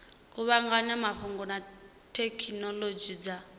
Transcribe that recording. kuvhanganya mafhungo na thekhinolodzhi dza